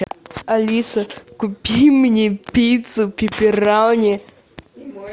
алиса купи мне пиццу пепперони